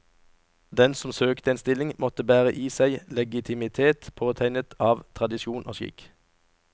Den som søkte en stilling måtte bære i seg legitimitet påtegnet av tradisjon og skikk.